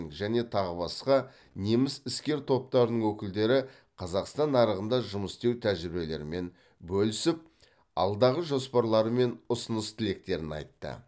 және тағы басқа неміс іскер топтарының өкілдері қазақстан нарығында жұмыс істеу тәжірибелерімен бөлісіп алдағы жоспарлары мен ұсыныс тілектерін айтты